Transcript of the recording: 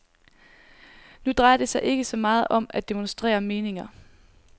Nu drejer det sig ikke så meget om at demonstrere meninger.